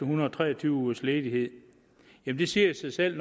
hundrede og tre og tyve ugers ledighed det siger sig selv